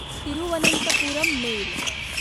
Thiruvananthapuram mail